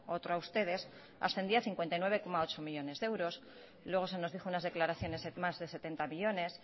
otro a ustedes ascendía a cincuenta y nueve coma ocho millónes de euros luego se nos dijo unas declaraciones en más de setenta millónes